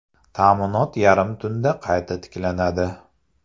Ta’minot yarim tunda qayta tiklanadi.